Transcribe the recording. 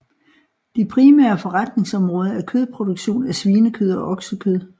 De primære forretningsområder er kødproduktion af svinekød og oksekød